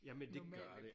normale